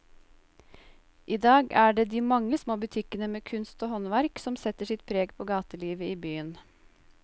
I dag er det de mange små butikkene med kunst og håndverk som setter sitt preg på gatelivet i byen.